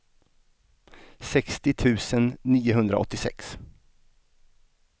sextio tusen niohundraåttiosex